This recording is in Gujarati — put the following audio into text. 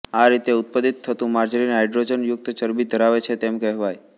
આ રીતે ઉત્પાદીત થતું માર્જરિન હાઇડ્રોજનયુક્ત ચરબી ધરાવે છે તેમ કહેવાય